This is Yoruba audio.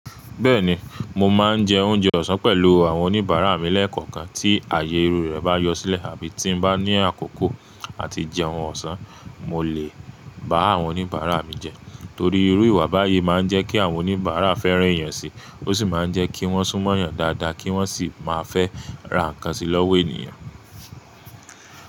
Bẹ́ẹ̀ni, mo máa ń jẹ oúnjẹ ọ̀sán pẹ̀lú àwọn oníbàárà mi lẹ́ẹ̀kọ̀kan tí ààyè irú rẹ̀ bá yọ sílẹ̀ àbí tí n bá ní àkókò àti jẹ ohun ọ̀sán, mo lè bá àwọn oníbàárà mi jẹ. Torí irú ìwà báyìí máa ń jẹ́ kí àwọn oníbàárà fẹ́ràn èèyàn síi, ó sì máa ń jẹ́ kí wọ́n sún mọ́yàn dáadáa kí wọ́n sì máa fẹ́ ra ǹkan sí lọ́wọ́ èèyàn.